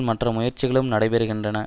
மற்ற முயற்சிகளும் நடைபெறுகின்றன